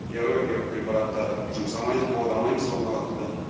биологиялық препараттар жұмсамаймыз қолдамаймыз оныларды